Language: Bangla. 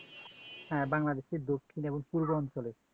হ্যাঁ বাংলাদেশ দক্ষিণ এবং পূর্ব অঞ্চলে